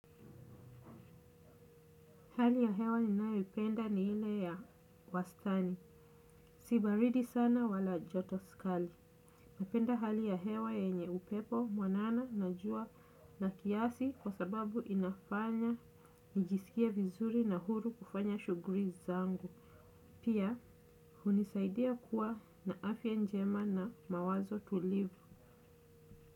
Hali ya hewa ninayoipenda ni ile ya wastani. Si baridi sana wala joto kali. Napenda hali ya hewa yenye upepo mwanana na jua na kiasi kwa sababu inafanya nijisikie vizuri na huru kufanya shughuli zangu. Pia hunisaidia kuwa na afya njema na mawazo tulivu.